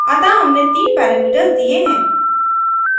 अतः हमने तीन parameters दिए हैं